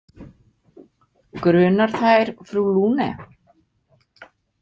Grunar þær frú Lune?